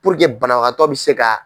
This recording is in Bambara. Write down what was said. banabagatɔ bi se ka.